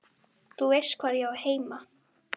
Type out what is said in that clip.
Þú veist hvar ég á heima.